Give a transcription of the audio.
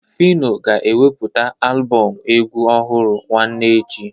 Fino ga-eweputa alụbọm egwu ọhụrụ nwanne echi.